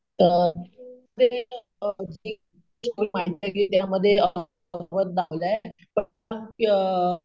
अं